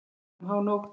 Svona um hánótt.